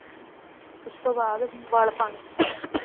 ਉਸਤੋਂ ਬਾਅਦ ਵਲ ਪਾਉਣੇ